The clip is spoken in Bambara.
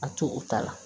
A to u ta la